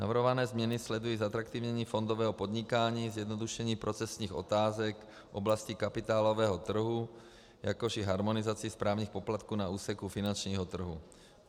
Navrhované změny sledují zatraktivnění fondového podnikání, zjednodušení procesních otázek v oblasti kapitálového trhu, jakož i harmonizaci správních poplatků na úseku finančního trhu.